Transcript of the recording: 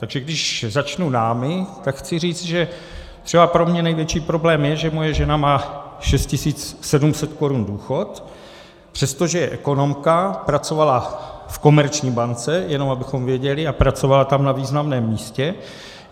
Takže když začnu námi, tak chci říct, že třeba pro mě největší problém je, že moje žena má 6 700 korun důchod, přestože je ekonomka, pracovala v Komerční bance, jen abychom věděli, a pracovala tam na významném místě.